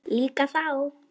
Líka þá.